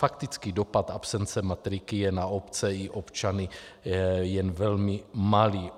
Faktický dopad absence matriky je na obce i občany jen velmi malý.